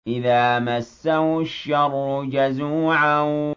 إِذَا مَسَّهُ الشَّرُّ جَزُوعًا